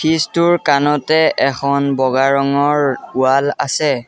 Fridge টোৰ কাণতে এখন বগা ৰঙৰ ওৱাল আছে।